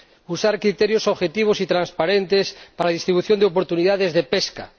usar criterios objetivos y transparentes para la distribución de oportunidades de pesca